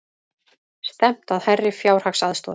Stefnt að hærri fjárhagsaðstoð